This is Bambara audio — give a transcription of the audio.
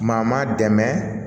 Maa maa dɛmɛ